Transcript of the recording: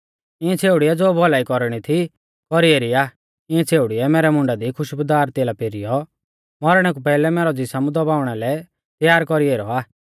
इंऐ छ़ेउड़िऐ ज़ो भौलाई कौरणी थी कौरी एरी आ इंऐ छ़ेउड़िऐ मैरै मुंडा दी खुशबुदार तेला पेरिऔ मौरणै कु पैहलै मैरौ ज़िसम दबाउणा लै तैयार कौरी ऐरौ आ